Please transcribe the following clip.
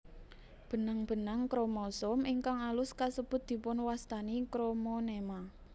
Benang benang kromosom ingkang alus kasebut dipunwastani kromonema